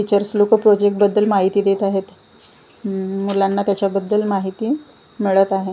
Teachers लोक project बद्दल माहिती देत आहेत उम मुलांना त्याच्याबद्दल माहिती मिळत आहे.